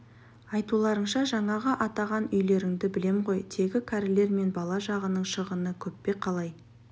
айтуларыңша жаңағы атаған үйлеріңді білем ғой тегі кәрілер мен бала жағының шығыны көп пе қалай